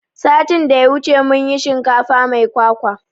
Satin da ya wuce mun yi shinkafa mai kwakwa